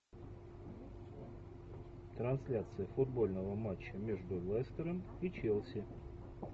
трансляция футбольного матча между лестером и челси